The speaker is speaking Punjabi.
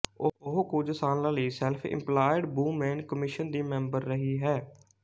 ਉਹ ਕੁੱਝ ਸਾਲਾਂ ਲਈ ਸੈਲਫ ਇੰਪਲਾਇਡ ਵੂਮੇਨ ਕਮਿਸ਼ਨ ਦੀ ਮੈਂਬਰ ਰਹੀ ਹੈ